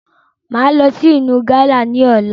Máa lọ sí ìlú gánà ni ọ̀la